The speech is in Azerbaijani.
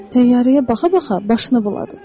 Təyyarəyə baxa-baxa başını buladı.